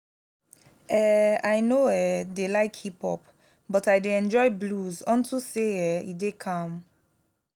i no say you no dey like play game so just go sit down go sit down